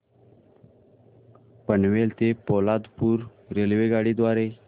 पनवेल ते पोलादपूर रेल्वेगाडी द्वारे